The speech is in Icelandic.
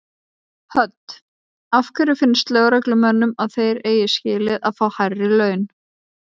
Hödd: Af hverju finnst lögreglumönnum að þeir eigi skilið að fá hærri laun?